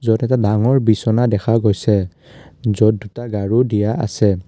য'ত এটা ডাঙৰ বিছনা দেখা গৈছে য'ত দুটা গাৰু দিয়া আছে।